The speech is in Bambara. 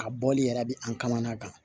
A bɔli yɛrɛ bɛ an kamanagan kan